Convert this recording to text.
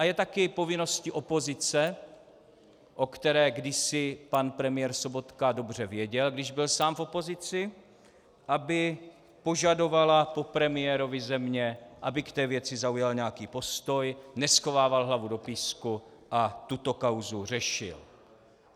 A je také povinností opozice, o které kdysi pan premiér Sobotka dobře věděl, když byl sám v opozici, aby požadovala po premiérovi země, aby k té věci zaujal nějaký postoj, neschovával hlavu do písku a tuto kauzu řešil.